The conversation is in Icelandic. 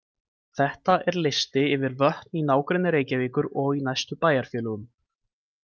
Þetta er listi yfir vötn í nágrenni Reykjavíkur og í næstu bæjarfélögum.